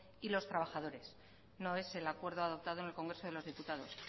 y los trabajadores no es el acuerdo adoptado en el congreso de los diputados